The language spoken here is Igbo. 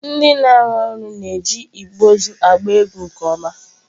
Ndị na-arụ ọrụ na-eji igbe ozu agba egwu nke ọma.